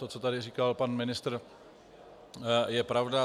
To, co tady říkal pan ministr, je pravda.